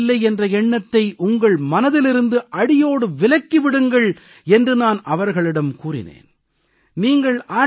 நீங்கள் வெற்றி பெறவில்லை என்ற எண்ணத்தை உங்கள் மனதிலிருந்து அடியோடு விலக்கி விடுங்கள் என்று நான் அவர்களிடம் கூறினேன்